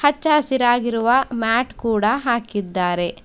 ಹಚ್ಚ ಹಸಿರಾಗಿರುವ ಮ್ಯಾಟ್ ಕೂಡ ಹಾಕಿದ್ದಾರೆ.